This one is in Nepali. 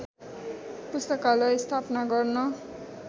पुस्तकालय स्थापना गर्न